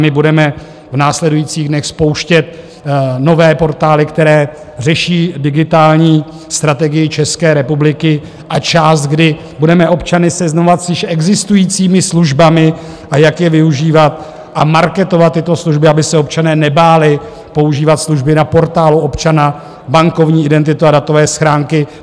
My budeme v následujících dnech spouštět nové portály, které řeší digitální strategii České republiky, a část, kdy budeme občany seznamovat s již existujícími službami, a jak je využívat a marketovat tyto služby, aby se občané nebáli používat služby na Portálu občana, bankovní identitu a datové schránky.